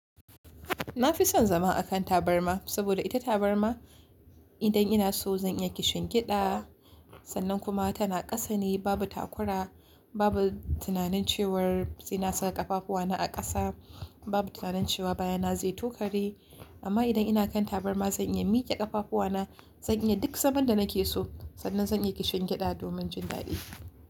Na fi son zama a kan tabarma saboda ita tabarma idan ina so zan iya kishin gyaɗa, sannan kuma tana ƙasa ne babu takura, babu tunanin cewar sai na sa ƙafafu wana a ƙasa, babu tunanin cewa baya na zai tokari. Amma idan ina kan tabarma zan iya miƙe ƙafafu wana, zan iya duk zaman da nake so, sannan zan iya kishin gyaɗa domin jin daɗi.